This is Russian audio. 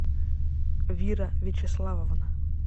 вира вячеславовна